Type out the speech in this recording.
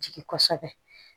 Jigi kosɛbɛ